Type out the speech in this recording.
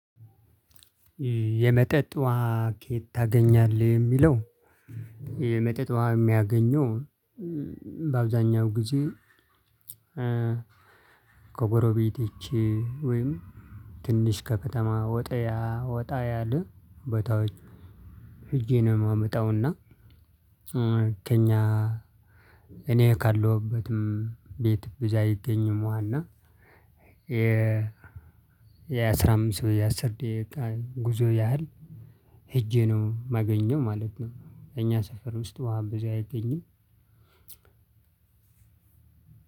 የመጠጥ ውሃ ከየት ታገኛለህ የሚለው? የመጠጥ ውሃ የሚያገኘው በአብዛኛው ጊዜ ኮጎሮቤቴቼ ወይም ትንሽ ከከተማ ወጥያ ወጣ ያለ ቦታዎች ሄጄ ነው ማመጣውና። ከእኛ እኔ ካለሁበትም ቤት ብዛ አይገኝም እና። የአስራ አምስት ወይ የአስር ደቂቃ ጉዞ ያህል ሄጄ ነው ማገኘው ማለት ነው። እኛ ሰፈር ውስጥ ውሃ ብዙ አይገኝም።